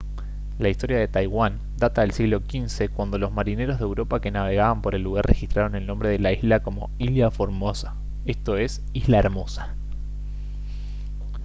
la historia de taiwán data del siglo xv cuando los marineros de europa que navegaban por el lugar registraron el nombre de la isla como ilha formosa esto es isla hermosa